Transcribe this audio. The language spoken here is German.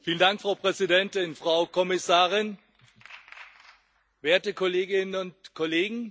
Frau Präsidentin, Frau Kommissarin, werte Kolleginnen und Kollegen!